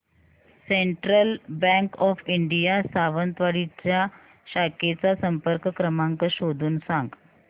central Bank of India Sawantwadi च्या शाखेचा संपर्क क्रमांक शोधून सांग